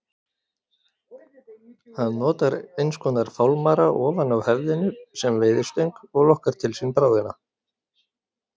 Hann notar einskonar fálmara ofan á höfðinu sem veiðistöng og lokkar til sín bráðina.